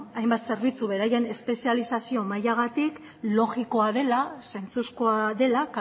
hainbat zerbitzu beraien espezializazio mailagatik logikoa dela zentzuzkoa dela